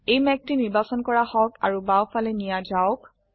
এই মেঘটি নিৰ্বাচন কৰা হওকআৰু বাও ফালে নিয়া যাওক